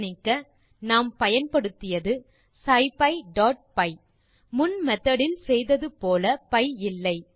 கவனிக்க நாம் பயன்படுத்தியது scipyபி முன் மெத்தோட் இல் செய்தது போல பி இல்லை